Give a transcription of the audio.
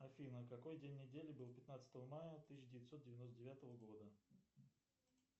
афина какой день недели был пятнадцатого мая тысяча девятьсот девяносто девятого года